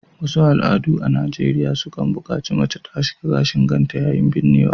Wasu al’adu a Najeriya suna kan bukaci mace ta aske gashin kanta yayin binnewa